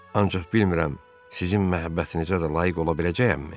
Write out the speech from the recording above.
Ancaq bilmirəm sizin məhəbbətinizə də layiq ola biləcəyəmmi?